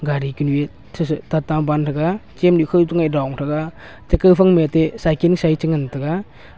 gari ku nue the the ta tam aban taega cheam du khoai toh ngaih long taega che kao phai ma teh cycle ci che ngan taega.